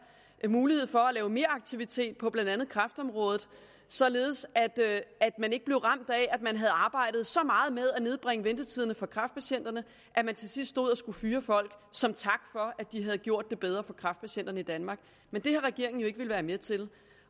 mulighed for at lave meraktivitet på blandt andet kræftområdet således at man ikke blev ramt af at man havde arbejdet så meget med at nedbringe ventetiderne for kræftpatienterne at man til sidst stod og skulle fyre folk som tak for at de havde gjort det bedre for kræftpatienterne i danmark men det har regeringen jo ikke villet være med til